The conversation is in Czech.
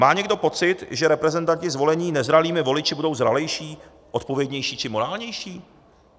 Má někdo pocit, že reprezentanti zvolení nezralými voliči budou zralejší, odpovědnější či morálnější?